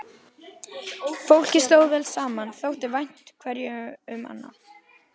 Fólkið stóð vel saman, þótti vænt hverju um annað.